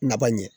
Naba ɲɛ